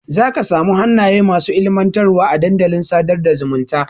Zaka samu hannaye masu ilmantarwa a dandalin sadar da zumunta.